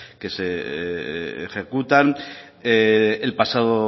que se ejecutan el pasado